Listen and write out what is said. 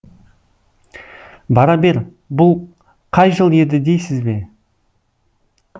бара бер бұл қай жыл еді дейсіз бе